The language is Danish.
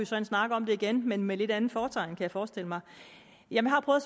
så en snak om det igen men med et lidt andet fortegn kan jeg forestille mig jeg har prøvet